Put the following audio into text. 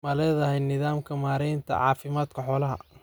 Ma leedahay nidaamka maaraynta caafimaadka xoolaha?